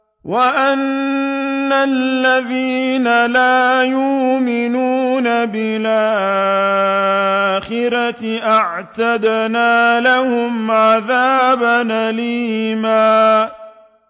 وَأَنَّ الَّذِينَ لَا يُؤْمِنُونَ بِالْآخِرَةِ أَعْتَدْنَا لَهُمْ عَذَابًا أَلِيمًا